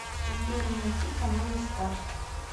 сбер найти каналы старт